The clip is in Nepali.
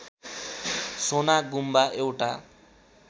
सोना गुम्बा एउटा